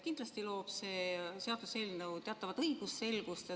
Kindlasti loob see seaduseelnõu teatavat õigusselgust.